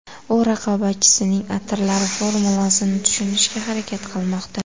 U raqobatchisining atirlari formulasini tushunishga harakat qilmoqda.